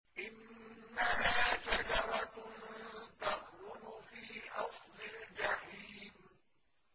إِنَّهَا شَجَرَةٌ تَخْرُجُ فِي أَصْلِ الْجَحِيمِ